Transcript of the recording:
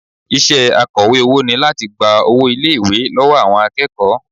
Iṣẹ́ akọ̀wé owó ni láti gba owó ilé-ìwé lọ́wọ́ àwọn akẹ́kọ̀ọ́